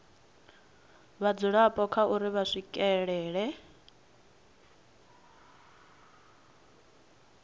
vhadzulapo kha uri vha swikelela